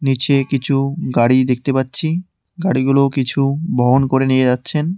নীচে কিছু গাড়ি দেখতে পাচ্ছি গাড়িগুলো কিছু বহন করে নিয়ে যাচ্ছেন।